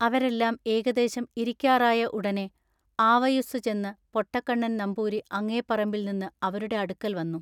അവരെല്ലാം ഏകദേശം ഇരിക്കാറായ ഉടനെ ആവയുസ്സുചെന്നു പൊട്ടക്കണ്ണൻ നംപൂരി അങ്ങെ പറമ്പിൽ നിന്നു അവരുടെ അടുക്കൽ വന്നു.